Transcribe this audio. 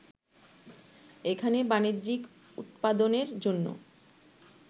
এখানে বাণিজ্যিক উৎপাদনের জন্য